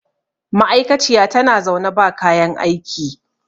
ma'aikaciya tana zaune ba kayan aiki